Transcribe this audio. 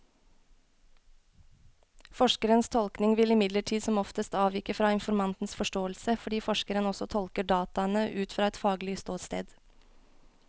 Forskerens tolkning vil imidlertid som oftest avvike fra informantens forståelse, fordi forskeren også tolker dataene ut fra et faglig ståsted.